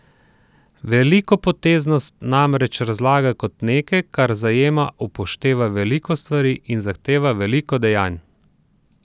Velikopoteznost namreč razlagajo kot nekaj, kar zajema, upošteva veliko stvari in zahteva veliko dejanj.